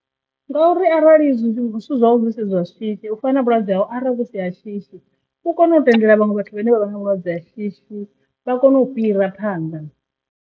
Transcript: Ngauri arali zwithu zwau zwithu zwau zwi si zwa shishi u fana vhulwadze hau arali hu si ha shishi u kone u tendela vhaṅwe vhathu vhane vha vha na vhulwadze ha shishi vha kone u fhira phanḓa.